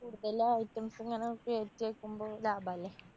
കൂടുതല് items ഇങ്ങനെ കേറ്റി അയക്കുമ്പോ ലാഭല്ലേ?